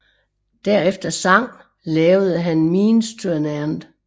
Derefter sang lavede han Means to an end